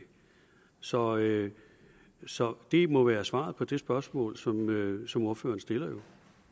så det så det må være svaret på det spørgsmål som som ordføreren stillede